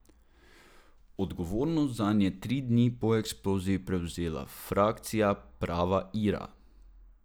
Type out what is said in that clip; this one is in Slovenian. Odgovornost zanj je tri dni po eksploziji prevzela frakcija Prava Ira.